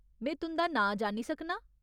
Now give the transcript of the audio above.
में तुं'दा नांऽ जानी सकनां?